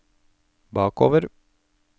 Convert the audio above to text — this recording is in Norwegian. bakover